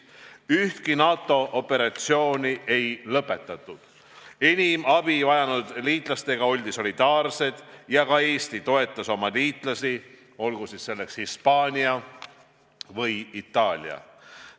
Ühtki NATO operatsiooni ei lõpetatud, enim abi vajanud liitlastega oldi solidaarsed ja ka Eesti toetas oma liitlasi, näiteks Hispaaniat ja Itaaliat.